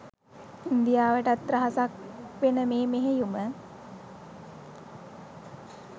ඉන්දියාවටත් රහසක් වෙන මේ මෙහෙයුම